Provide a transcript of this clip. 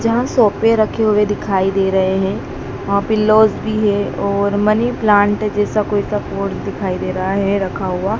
यहां सोफे रखे हुए दिखाई दे रहे हैं वहां पिलोज भी है और मनी प्लांट जैसा कोई सा पॉट दिखाई दे रहा है रखा हुआ।